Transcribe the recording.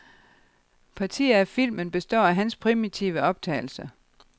Partier af filmen består af hans primitive optagelser.